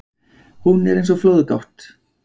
Hún er eins og flóðgátt.